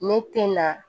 Ne tɛ na